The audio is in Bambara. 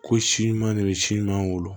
Ko si ɲuman de bɛ si ɲuman wolo